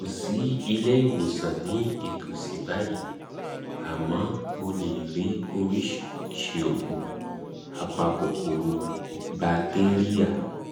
um kò sí ilé ìwòsàn ní ìtòsí báyìí um àmọ́ mo lè rí oríṣiríṣi òògùn apa kòkòrò batéríà